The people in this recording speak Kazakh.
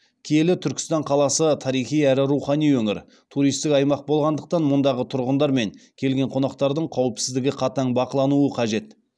киелі түркістан қаласы тарихи әрі рухани өңір туристік аймақ болғандықтан мұндағы тұрғындар мен келген қонақтардың қауіпсіздігі қатаң бақылануы қажет